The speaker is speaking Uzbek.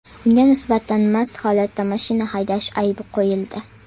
Unga nisbatan mast holatda mashina haydash aybi qo‘yildi.